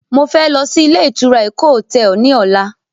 Mo fẹ́ lọ sí ilé ìtura Eko hotel ní ọ̀la